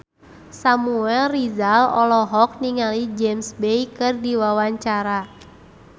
Samuel Rizal olohok ningali James Bay keur diwawancara